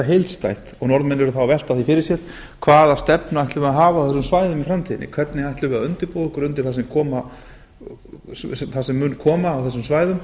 heildstætt og norðmenn eru þá að velta því fyrir sér hvaða stefnu ætlum við að hafa á þessum svæðum í framtíðinni hvernig ætlum við að undirbúa okkur undir það sem mun koma á þessum svæðum